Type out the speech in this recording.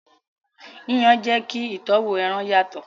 Yíyan jẹ kí ìtọ́wò ẹran yàtọ̀.